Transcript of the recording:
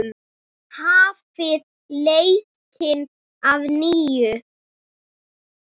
Hafið leikinn að nýju.